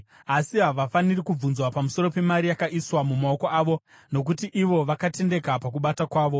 Asi havafaniri kubvunzwa pamusoro pemari yakaiswa mumaoko avo, nokuti ivo vakatendeka pakubata kwavo.”